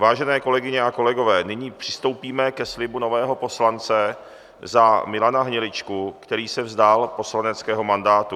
Vážené kolegyně a kolegové, nyní přistoupíme ke slibu nového poslance za Milana Hniličku, který se vzdal poslaneckého mandátu.